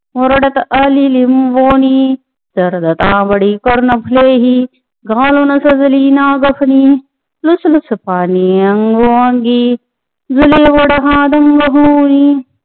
मुरडत आली लिबोंनी जर्द तांबडी कर्णफुलेही घालुन सजली नागफणी लुसनुस पाने अंगोपांगी झुले वड हा ढंग होऊनी